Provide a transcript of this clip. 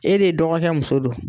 E de dɔgɔKɛ muso don.